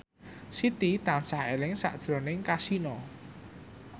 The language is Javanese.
Siti tansah eling sakjroning Kasino